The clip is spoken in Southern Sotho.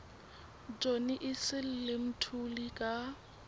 johnny issel le mthuli ka